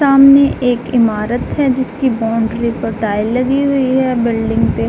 सामने एक इमारत है जिसकी बाउंड्री पर टाइल लगी हुई है। बिल्डिंग पे --